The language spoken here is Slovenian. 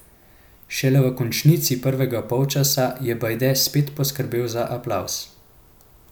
Šele v končnici prvega polčasa je Bajde spet poskrbel za aplavz.